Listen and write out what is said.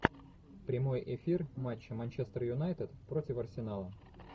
прямой эфир матча манчестер юнайтед против арсенала